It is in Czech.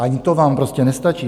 Ani to vám prostě nestačí.